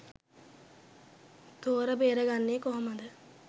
තෝර බේරගන්නෙ කොහොමද?